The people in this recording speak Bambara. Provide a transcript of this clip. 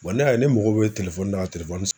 ne y'a ye ne mago bɛ na ka